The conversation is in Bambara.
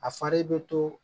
A fari bɛ to